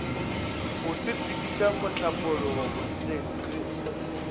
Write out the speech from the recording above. go sepediša mohlapologo bonneng se